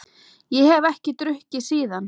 Ég hef ekki drukkið síðan.